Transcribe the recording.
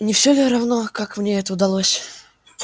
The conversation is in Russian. не всё ли равно как мне это удалось